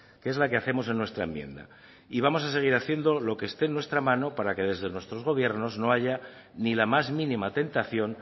que es la que hacemos en nuestra enmienda y vamos a seguir haciendo lo que esté en nuestra mano para que desde nuestros gobiernos no haya ni la más mínima tentación